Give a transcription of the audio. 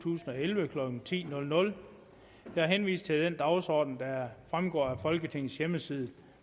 tusind og elleve klokken ti jeg henviser til den dagsorden der fremgår af folketingets hjemmeside